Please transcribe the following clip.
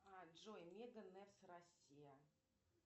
а джой не днс россия